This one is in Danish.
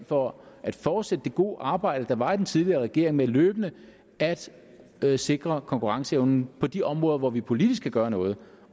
for at fortsætte det gode arbejde der var i den tidligere regering med løbende at at sikre konkurrenceevnen på de områder hvor vi politisk kan gøre noget